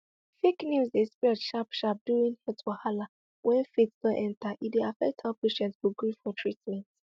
fake news dey spread sharp sharp during health wahala when faith don enter e dey affect how patient go gree for treatment